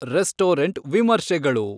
restaurant ವಿಮರ್ಶೆಗಳು